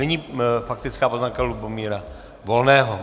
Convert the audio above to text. Nyní faktická poznámka Lubomíra Volného.